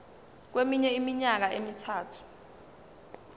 kweminye iminyaka emithathu